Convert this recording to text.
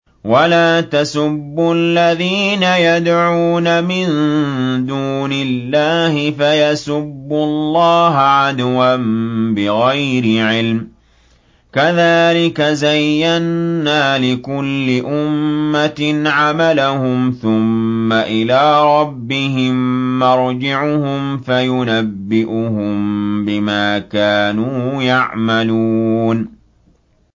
وَلَا تَسُبُّوا الَّذِينَ يَدْعُونَ مِن دُونِ اللَّهِ فَيَسُبُّوا اللَّهَ عَدْوًا بِغَيْرِ عِلْمٍ ۗ كَذَٰلِكَ زَيَّنَّا لِكُلِّ أُمَّةٍ عَمَلَهُمْ ثُمَّ إِلَىٰ رَبِّهِم مَّرْجِعُهُمْ فَيُنَبِّئُهُم بِمَا كَانُوا يَعْمَلُونَ